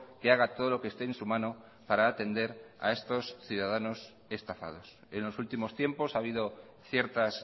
que haga todo lo que esté en su mano para atender a estos ciudadanos estafados en los últimos tiempos ha habido ciertas